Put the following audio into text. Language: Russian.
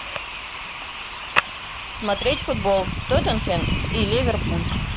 смотреть футбол тоттенхэм и ливерпуль